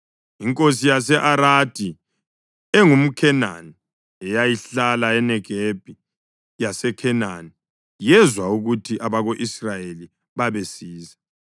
Inkosi yase-Aradi engumKhenani eyayihlala eNegebi yaseKhenani, yezwa ukuthi abako-Israyeli babesiza.